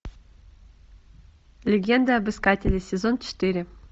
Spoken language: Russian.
легенда об искателе сезон четыре